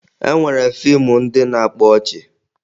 E nwere fiimu ndị na-akpa ọchị